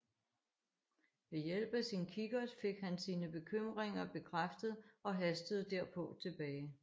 Ved hjælp af sin kikkert fik han sine bekymringer bekræftet og hastede derpå tilbage